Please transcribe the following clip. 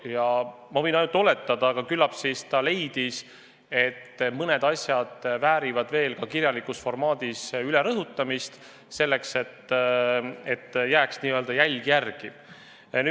Ja ma võin ainult oletada, aga küllap ta leidis, et mõned asjad väärivad veel ka kirjalikult üle rõhutamist, et jääks jälg järele.